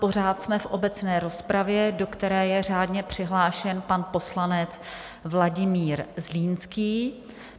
Pořád jsme v obecné rozpravě, do které je řádně přihlášen pan poslanec Vladimír Zlínský.